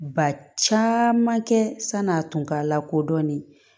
Ba caman kɛ san'a tun ka lakodɔnni